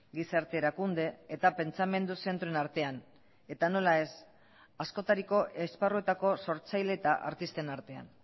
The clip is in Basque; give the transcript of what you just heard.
gizarte erakunde eta pentsamendu zentroen artean eta nola ez askotariko esparruetako sortzaile eta artisten artean